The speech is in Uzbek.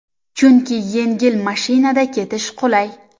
Chunki yengil mashinada ketish qulay.